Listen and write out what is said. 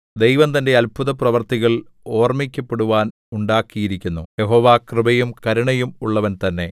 ദൈവം തന്റെ അത്ഭുതപ്രവൃത്തികൾ ഓർമ്മിക്കപ്പെടുവാൻ ഉണ്ടാക്കിയിരിക്കുന്നു യഹോവ കൃപയും കരുണയും ഉള്ളവൻ തന്നെ